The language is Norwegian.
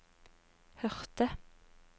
hørte